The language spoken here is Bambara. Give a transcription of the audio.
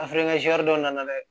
dɔ nana dɛ